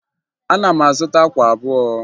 Ana m azụta akwa abụọ